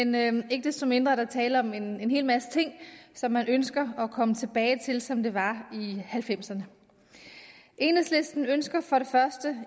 men ikke desto mindre er der tale om en hel masse ting som man ønsker at komme tilbage til som det var i nitten halvfemserne enhedslisten ønsker for det første